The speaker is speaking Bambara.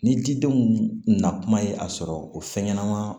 Ni jidenw na kuma ye a sɔrɔ o fɛn ɲɛnama